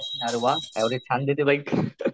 अरे वा अवरेज छान देते बाईक